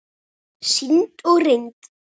Sýnd og reynd.